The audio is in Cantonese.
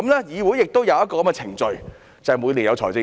議會亦有這種程序，就是每年的預算案。